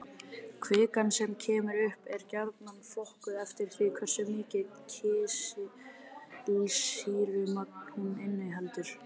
Kvikan sem kemur upp er gjarnan flokkuð eftir því hversu mikið kísilsýrumagn hún inniheldur.